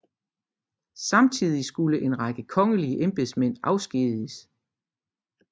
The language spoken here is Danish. Samtidig skulle en række kongelige embedsmænd afskediges